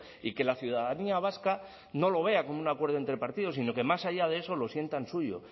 y que la ciudadanía vasca no lo vea como un acuerdo entre partidos sino que más allá de eso lo sientan suyo